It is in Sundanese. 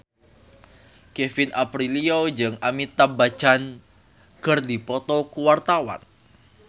Kevin Aprilio jeung Amitabh Bachchan keur dipoto ku wartawan